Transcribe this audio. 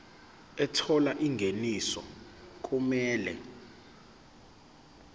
ethola ingeniso okumele